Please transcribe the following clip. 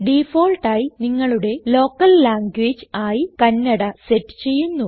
ഡിഫാൾട്ടായി നിങ്ങളുടെ local language ആയി Kannada set ചെയ്യുന്നു